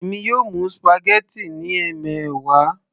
èmi yóò mú spaghetti ní ẹmẹwa